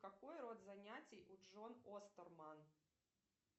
какой род занятий у джон остерман